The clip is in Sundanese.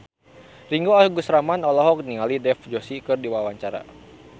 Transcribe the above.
Ringgo Agus Rahman olohok ningali Dev Joshi keur diwawancara